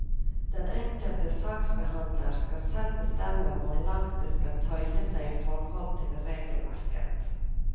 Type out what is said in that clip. Den enkelte saksbehandler skal selv bestemme hvor langt de skal tøye seg i forhold til regelverket.